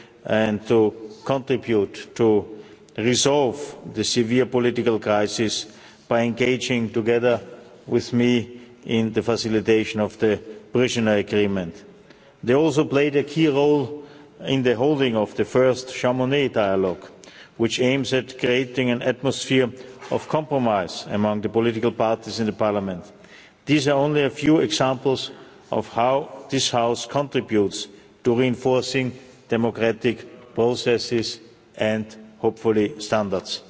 and to contribute to resolving the severe political crisis by engaging together with me in the facilitation of the provisional agreement. They also played a key role in the organising of the first Chamonix dialogue, which aims at creating an atmosphere of compromise among the political parties in the Parliament. These are only a few examples of how this House contributes to reinforcing democratic processes and, hopefully, standards.